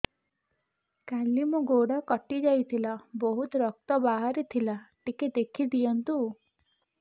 କାଲି ମୋ ଗୋଡ଼ କଟି ଯାଇଥିଲା ବହୁତ ରକ୍ତ ବାହାରି ଥିଲା ଟିକେ ଦେଖି ଦିଅନ୍ତୁ